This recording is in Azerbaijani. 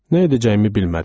Nə edəcəyimi bilmədim.